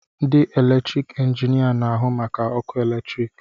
Ndị eletrik injinia na-ahụ maka ọkụ eletrik